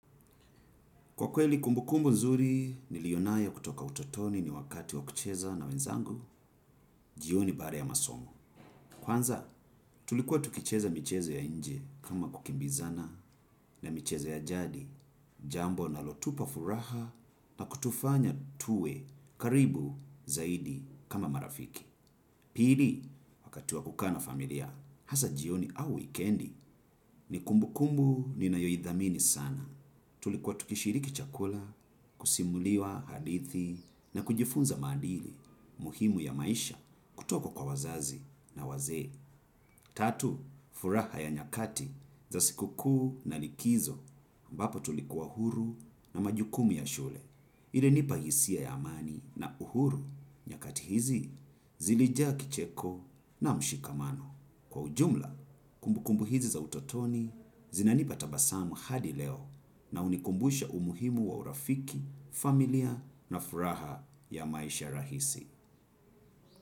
Kwa kweli kumbu kumbu nzuri, niliyonayo kutoka utotoni ni wakati wa kucheza na wenzangu, jioni baada ya masomo. Kwanza, tulikuwa tukicheza michezo ya inje kama kukimbizana na michezo ya jadi, jambo linalotupa furaha na kutufanya tuwe karibu zaidi kama marafiki. Pili, wakati wa kukaa na familia, hasa jioni au wikendi, ni kumbu kumbu ni nayoidhamini sana. Tulikuwa tukishiriki chakula, kusimuliwa hadithi na kujifunza maadili muhimu ya maisha kutoka kwa wazazi na wazee. Tatu, furaha ya nyakati za sikukuu na likizo ambapo tulikuwa huru na majukumu ya shule. Ili nipa hisia ya amani na uhuru nyakati hizi zilijaa kicheko na mshikamano. Kwa ujumla, kumbukumbu hizi za utotoni zinanipa tabasamu hadi leo na hunikumbusha umuhimu wa urafiki, familiya na furaha ya maisha rahisi.